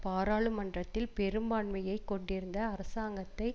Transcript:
பாராளுமன்றத்தில் பெரும்பான்மையை கொண்டிருந்த அரசாங்கத்தை